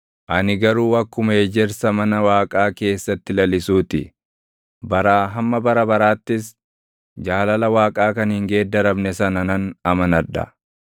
Ani garuu akkuma ejersa mana Waaqaa keessatti lalisuu ti; baraa hamma bara baraattis, jaalala Waaqaa kan hin geeddaramne sana nan amanadha.